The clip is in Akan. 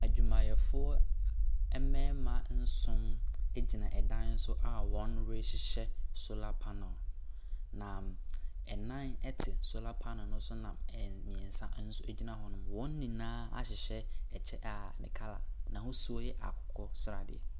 Adwumayɛfoɔ mmarima nson gyina dan so a wɔrehyehyɛ solar panel, na nnan te solar panel no so, na mmeɛnsa nso gyina hɔ. Wɔn nyinaa ahyehyɛ ɛkyɛ a ne color, n'ahosuo yɛ akokɔ sradeɛ.